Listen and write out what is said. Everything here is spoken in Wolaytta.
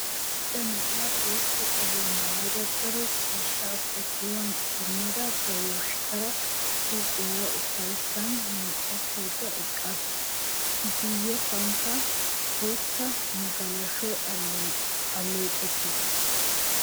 Macca na'iya bootta qoliya maayada daro ciishshaa ba kiyuwan idimmada ba yoshkkaaraa huuphiyara ufayssaa moocattaydda eqqaasu. I guyyessaykka bootta magalashuwan alleeqettiis.